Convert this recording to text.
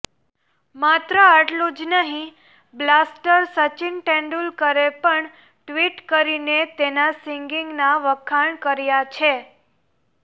માત્ર આટલું જ નહીં બ્લાસ્ટર સચિન તેંડુલકરે પણ ટ્વીટ કરીને તેના સિંગિગના વખાણ કર્યા છે